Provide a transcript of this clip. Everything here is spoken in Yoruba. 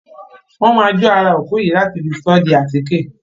Wọn má jo ará òkú yìí láti fi sọ di bi atike.